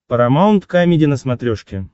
парамаунт камеди на смотрешке